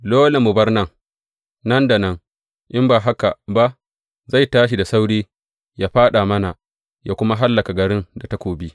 Dole mu bar nan, nan da nan, in ba haka ba zai tashi da sauri yă fāɗa mana, yă kuma hallaka garin da takobi.